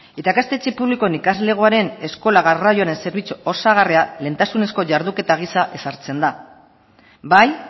eta ikastetxe publikoen ikaslegoaren eskola garraioaren zerbitzu osagarria lehentasunezko jarduketa gisa ezartzen da bai